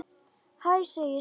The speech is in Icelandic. Hæ, segir Svenni.